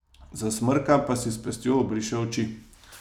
Zasmrka pa si s pestjo obriše oči.